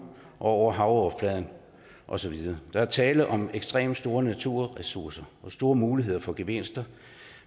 og over havoverfladen og så videre der er tale om ekstremt store naturressourcer og store muligheder for gevinster